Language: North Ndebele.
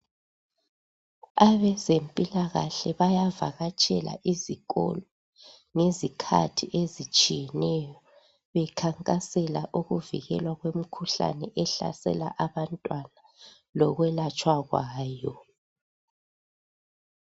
Abezempilakahle bayavakatshela izikolo ngezikhathi ezitshiyeneyo bekhankasela ukuvikelwa kwemkhuhlane ehlasela abantwana, lokwelatshwa kwayo.